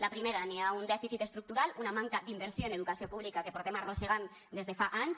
la primera hi ha un dèficit estructural una manca d’inversió en educació pública que portem arrossegant des de fa anys